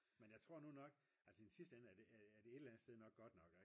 men jeg tror nu nok altså i den sidste ende er det her et eller sted nok godt nok